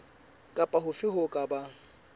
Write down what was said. kapa hofe ho ka bang